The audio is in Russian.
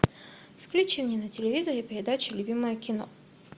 включи мне на телевизоре передачу любимое кино